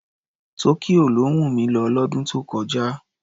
Tokyo ló wùn mi lọ lọ́dún tó kọjá.